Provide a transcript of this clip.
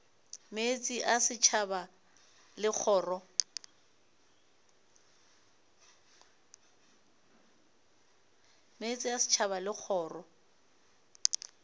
meetse a setšhaba le kgoro